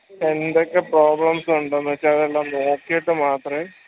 എന്തൊക്കെ problems ഉണ്ടെന്ന് വെച്ച് അതെല്ലം നോക്കീട്ട് മാത്രേ